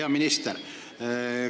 Hea minister!